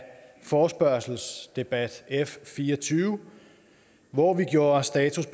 forespørgselsdebat f fire og tyve hvor vi gjorde status